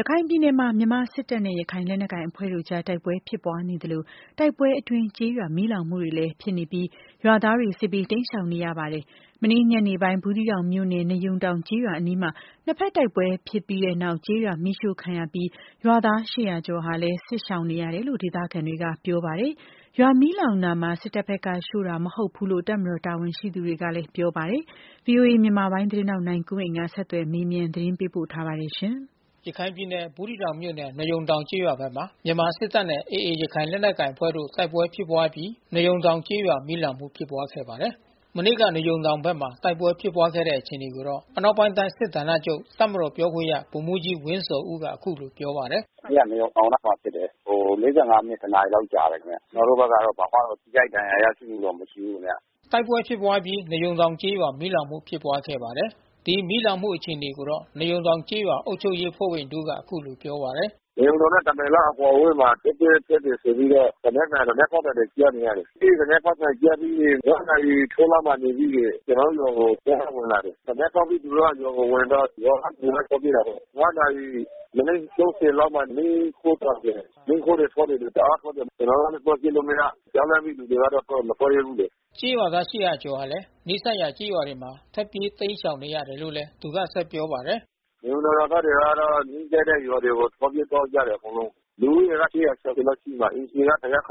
ရခိုင်ပြည်နယ်မှာ မြန်မာ့စစ်တပ်နဲ့ရခိုင်လက်နက်ကိုင်အဖွဲ့တို့အကြားတိုက်ပွဲဖြစ်ပွားနေသလို တိုက်ပွဲအတွင်းကျေးရွာ မီးလောင်မှုတွေလည်း ဖြစ်နေပြီး ရွာသားတွေစစ်ဘေး တိမ်းရှောင်နေရပါတယ်။ မနေ့ညနေပိုင်း ဘူးသီးတောင်မြို့နယ် ၊ နွားရုံတောင်ကျေးရွာအနီး နှစ်ဖက်တိုက်ပွဲ ဖြစ်ပွားခဲ့အပြီး ကျေးရွာမီးရှို့ခံရပြီး ရွာသား ကျော်ဟာလဲ စစ်ရှောင်နေရတယ်လို့ဒေသခံတွေက ပြောပါတယ်။ ရွာမီးလောင်မှုမှာ စစ်တပ်ဖက်ကရှို့တာမဟုတ်ဘူးလို့ တပ်မတော်တာဝန်ရှိသူ တွေ ကပြောပါတယ်။ ဗွီအိုအေမြန်မာပိုင်းသတင်းထောက် နိုင်ကွန်းအိန်ကနေ ဆက်သွယ်မေးမြန်းသတင်းပေးပို့ထားပါတယ်။ ဘူးသီးတောင်မြို့နယ် နွားရုံတောင်ကျေးရွာဖက်မှာ မြန်မာစစ်တပ်နဲ့ AAရခိုင်လက်နက်ကိုင်အဖွဲ့ တို့တိုက်ပွဲဖြစ်ပွား အပြီး နွားရုံတောင်ကျေးရွာမီးလောင်မှု ဖြစ်ပွားခဲ့ပါတယ်။ မနေ့ကနွားရုံတောင်ဘက်မှာ တိုက်ပွဲဖြစ်ပွားခဲ့တဲ့အခြေအနေကိုတော့ အနောက်ပိုင်းတိုင်းစစ်ဌာနချုပ် တပ်မတော် ပြောခွင့်ရဗိုလ်မှူးကြီးဝင်းဇော်ဦးက အခုလိုပြောပါတယ်။ “မနေ့ကနွားရုံတောင်နားမှာဖြစ်တယ်။ ဟို မိနစ် တနာရီလောက်တော့ကြာတယ်။ ကျွန်တော်တို့ဖက် ကတော့ ဘာမှ ထိခိုက်ဒဏ်ရာရရှိမှု တော့မရှိဘူးခင်ဗျ။” တိုက်ပွဲဖြစ်ပွားပြီး နွားရုံတောင်ကျေးရွာမီးလောင်ခဲ့ပါတယ်။ ဒီမီးလောင်မှု အခြေအနေကိုတော့ နွားရုံတောင်ကျေးရွာအုပ်ချုပ်ရေးအဖွဲ့ဝင်တဦး က အခုလိုပြောပါတယ်။ “နွားရုံတောင်နဲ့ တမိုင်လောက်အကွာအဝေးမှာ တိုက်ပွဲဖြစ်တယ်ဆိုပြီးတော့ သေနတ်သံ သေနတ်ပေါက်သံတွေ ကြား နေရတယ်။ အဲဒီသေနတ် ပေါက်သံကြားပြီးရင် နာရီထိုးလောက်မှာပြီးရင် ကျွန်တော်တို့ရွာကို စစ်ကြောင်းက ဝင်လာ တယ်။ သေနတ်ဖောက်ပြီး သူတို့ကရွာကိုဝင်တော့ ရွာကလူလည်း ထွက်ပြေးတာပေါ့။ နာရီမိနစ် လောက်မှာ မီးရှို့ပါ တယ်။ မီးခိုးတွေထွက်နေတယ်။ တအားထွက်နေတယ်။ ကျွန်တော်တို့လဲသွားကြည့်လို့မရ။ ကြောက်လန့်ပြီးလူတွေ က မထွက်ရဲဘူးလေ။ ကျေးရွာသား ကျော်ဟာလဲ နီးစပ်တဲ့ကျေးရွာတွေမှာ ထွက်ပြေးတိမ်းရှောင်နေရတယ်လို့ သူကဆက်ပြော ပါတယ်။ “နွားရုံတောင်ရွာသားတွေတော့ နီးစပ်တဲ့ရွာတွေကို ထွက်ပြေးကြတယ်အကုန်လုံး။ လူဦးရေက ကျော်ကျော် လောက်ရှိပါတယ်။ အိမ်ခြေက လောက်ရှိတယ်။